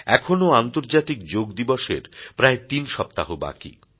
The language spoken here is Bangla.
এখনও আন্তর্জাতিক যোগদিবসের প্রায় তিন সপ্তাহ বাকী